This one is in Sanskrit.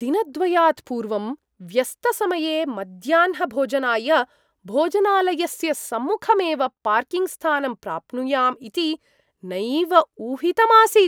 दिनद्वयात्पूर्वं, व्यस्तसमये मध्याह्नभोजनाय भोजनालयस्य सम्मुखमेव पार्किङ्ग् स्थानं प्राप्नुयाम् इति नैव ऊहितमासीत् ।